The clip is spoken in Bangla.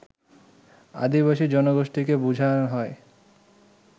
আদিবাসী জনগোষ্ঠীকে বুঝান হয়